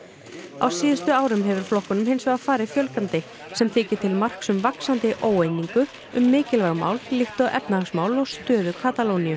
á síðustu árum hefur flokkum hins vegar farið fjölgandi sem þykir til marks um vaxandi óeiningu um mikilvæg mál líkt og efnahagsmál og stöðu Katalóníu